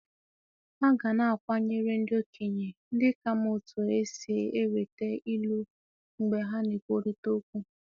A ga na-akwanyere ndị okenye ndị ka ma otú e si enweta Ilu mgbe ha na-ekwurịta okwu.